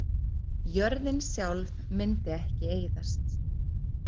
Jörðin sjálf myndi ekki eyðast.